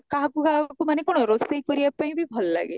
କାହାକୁ କାହାକୁ ମାନେ କଣ ରୋଷେଇ କରିବା ପାଇଁବି ଭଲ ଲାଗେ